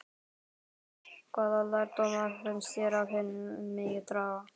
Hvaða lærdóma finnst þér af henni megi draga?